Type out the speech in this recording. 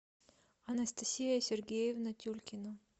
анастасия сергеевна тюлькина